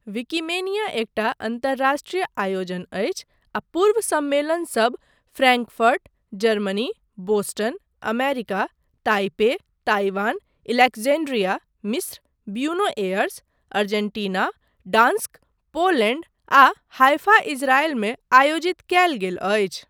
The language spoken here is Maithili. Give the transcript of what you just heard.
विकिमेनिया एकटा अन्तर्राष्ट्रीय आयोजन अछि आ पूर्व सम्मेलनसब Frankfurt, Germany, Boston, America, Taipei, Taiwan, Alexandria, मिस्र, Buenos Aires, Argentina, Gdansk, Poland, आ हाइफा इज़रायल मे आयोजित कयल गेल अछि।